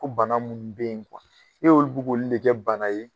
Ko bana minnu bɛ yen ne olu bɛ k'olu de kɛ bana ye